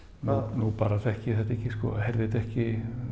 nú bara þekki ég þetta ekki sko heyrði þetta ekki